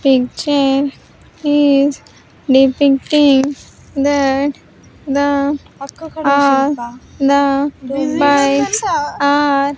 picture is depicting that the are the bikes are--